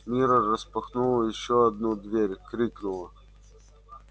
мирра распахнула ещё одну дверь крикнула